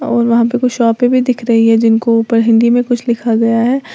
और वहां पे शॉपे भी दिख रही है जिनको ऊपर हिंदी में कुछ लिखा गया है।